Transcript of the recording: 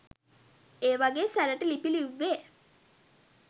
එවගේ සැරට ලිපි ලිව්වේ